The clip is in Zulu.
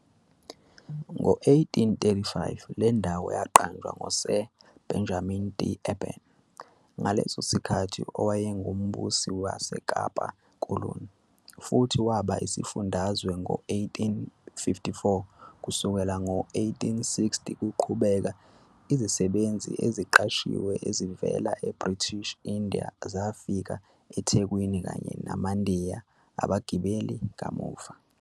Ngo-1835, le ndawo yaqanjwa ngoSir Benjamin D'Urban, ngaleso sikhathi owayengumbusi waseKapa koloni, futhi waba isifundazwe ngo-1854. Kusukela ngo-1860 kuqhubeke, izisebenzi eziqashiwe ezivela eBritish India zafika eThekwini, kanye namaNdiya abagibeli kamuva.